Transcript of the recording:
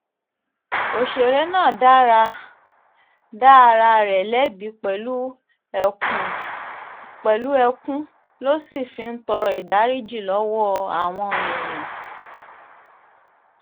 ọ̀sẹ̀rẹ̀ náà dá ara rẹ̀ lẹ́bi pẹ̀lú ẹkún ló sì fi ń tọrọ ìdáríjì lọ́wọ́ àwọn èèyàn